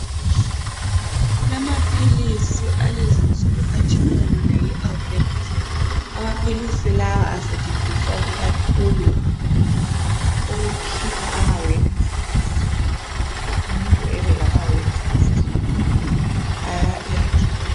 Kulamaphilisi alezinsuku okuthiwa yi albendazole, amaphilisi. lawa asentshenziswa kakhulu ukukhipha amawemusi esiswini. Nxa umuntu elamawemusi esiswini uyawelapha lumuthi.